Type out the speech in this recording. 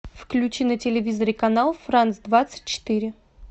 включи на телевизоре канал франц двадцать четыре